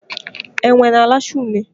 Enwe na alacha une